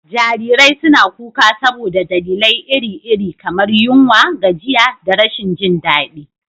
Jarirai suna kuka saboda dalilai iri-iri, kamar yunwa, gajiya, da rashin jin daɗi.